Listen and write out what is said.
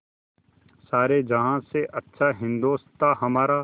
सारे जहाँ से अच्छा हिन्दोसिताँ हमारा